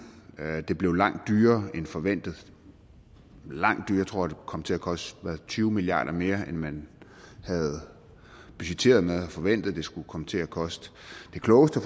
det bliver langt dyrere end forventet langt dyrere jeg tror det kom til at koste tyve milliarder mere end man havde budgetteret med og forventet det skulle komme til at koste det klogeste